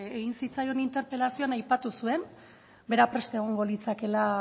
egin zitzaion interpelazioan aipatu zuen bera prest egongo litzakeela